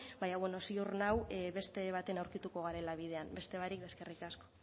baina bueno ziur nao beste baten aurkituko garela bidean beste barik eskerrik asko